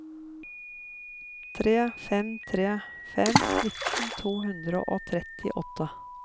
tre fem tre fem nitten to hundre og trettiåtte